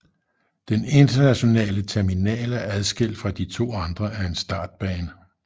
Den internationale terminal er adskilt fra de to andre af en startbane